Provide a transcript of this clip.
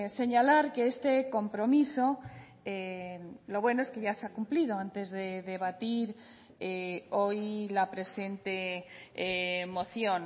señalar que este compromiso lo bueno es que ya se ha cumplido antes de debatir hoy la presente moción